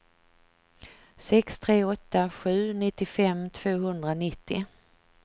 sex tre åtta sju nittiofem tvåhundranittio